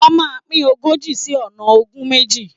Wọ́́n máa pín ogójì sí ọ̀nà ogún méjì.